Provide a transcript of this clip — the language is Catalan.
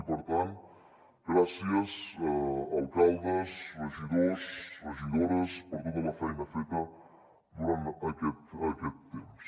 i per tant gràcies alcaldes regidors regidores per tota la feina feta durant aquest temps